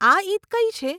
આ ઈદ કઈ છે?